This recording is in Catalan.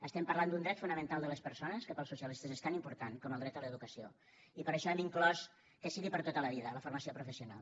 estem parlant d’un dret fonamental de les persones que per als socialistes és tan important com el dret a l’educació i per això hem inclòs que sigui per tota la vida la formació professional